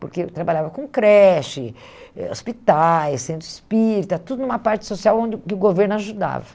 Porque eu trabalhava com creche eh, hospitais, centro espírita, tudo numa parte social onde o governo ajudava.